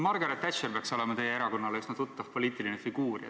Margaret Thatcher peaks olema teie erakonnale üsna tuttav poliitiline figuur.